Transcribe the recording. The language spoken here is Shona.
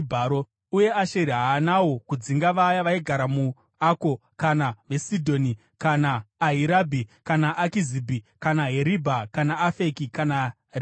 Uye Asheri haanawo kudzinga vaya vaigara muAko kana veSidhoni kana Ahirabhi kana Akizibhi kana Heribha kana Afeki kana Rehobhi,